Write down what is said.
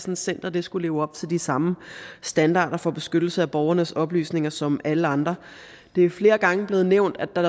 et center skulle leve op til de samme standarder for beskyttelse af borgernes oplysninger som alle andre det er flere gange blevet nævnt at der